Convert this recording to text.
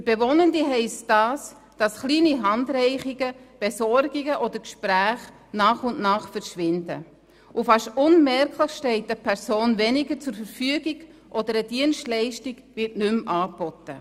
Für Bewohnende heisst das, dass kleine Handreichungen, Besorgungen oder Gespräche nach und nach verschwinden, und fast unmerklich steht eine Person weniger zur Verfügung, oder eine Dienstleistung wird nicht mehr angeboten.